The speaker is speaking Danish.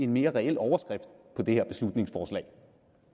mere reel overskrift for det her beslutningsforslag